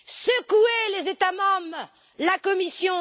Secouez les États membres et la Commission!